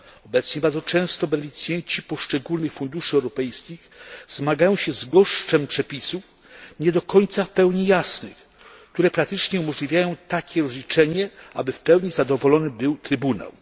Tymczasem bardzo często beneficjenci poszczególnych funduszy europejskich zmagają się z gąszczem przepisów nie do końca w pełni jasnych, które praktycznie uniemożliwiają takie rozliczenie, aby w pełni zadowolony był Trybunał.